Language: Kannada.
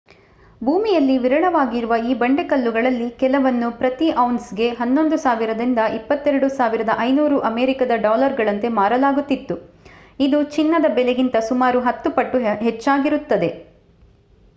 ಭೂಮಿಯಲ್ಲಿ ವಿರಳವಾಗಿರುವ ಈ ಬಂಡೆಕಲ್ಲುಗಳಲ್ಲಿ ಕೆಲವನ್ನು ಪ್ರತಿ ಔನ್ಸ್‌ಗೆ 11,000 ದಿಂದ 22,500 ಅಮೇರಿಕದ ಡಾಲರುಗಳಂತೆ ಮಾರಲಾಗುತ್ತಿದ್ದು ಇದು ಚಿನ್ನದ ಬೆಲೆಗಿಂತ ಸುಮಾರು ಹತ್ತು ಪಟ್ಟು ಹಚ್ಚ್ಚಾಗಿರುತ್ತದೆ